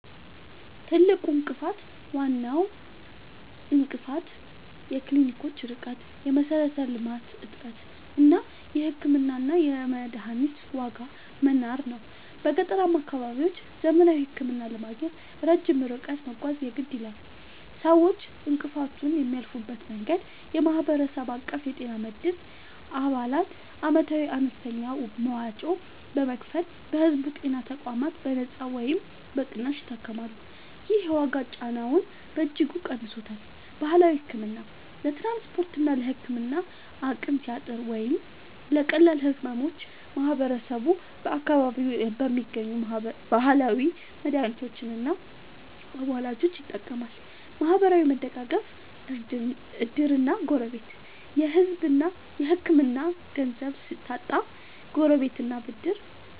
ትልቁ እንቅፋት፦ ዋናው እንቅፋት የክሊኒኮች ርቀት (የመሠረተ-ልማት እጥረት) እና የሕክምናና የመድኃኒት ዋጋ መናር ነው። በገጠራማ አካባቢዎች ዘመናዊ ሕክምና ለማግኘት ረጅም ርቀት መጓዝ የግድ ይላል። ሰዎች እንቅፋቱን የሚያልፉበት መንገድ፦ የማህበረሰብ አቀፍ የጤና መድን፦ አባላት ዓመታዊ አነስተኛ መዋጮ በመክፈል በሕዝብ ጤና ተቋማት በነጻ ወይም በቅናሽ ይታከማሉ። ይህ የዋጋ ጫናውን በእጅጉ ቀንሶታል። ባህላዊ ሕክምና፦ ለትራንስፖርትና ለሕክምና አቅም ሲያጥር ወይም ለቀላል ሕመሞች ማህበረሰቡ በአካባቢው በሚገኙ ባህላዊ መድኃኒቶችና አዋላጆች ይጠቀማል። ማህበራዊ መደጋገፍ (ዕድርና ጎረቤት)፦ የሕክምና ገንዘብ ሲታጣ